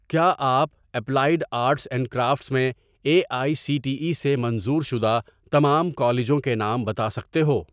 کیا آپ applied arts and crafts میں A I C T E سے منظور شدہ تمام کالجوں کے نام بتا سکتے ہو